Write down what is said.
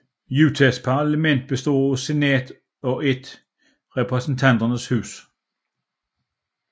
Utahs parlament består af et Senat og af et Repræsentanternes Hus